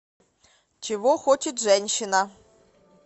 чего хочет женщина